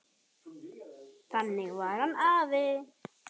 Þannig var hann afi.